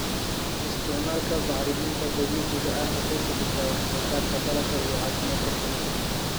Isticmaalka bacriminta dabiiciga ah waxay kordhisaa wax soo saarka dalagga iyo caafimaadka shinnida.